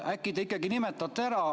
Äkki te ikka nimetate selle ära.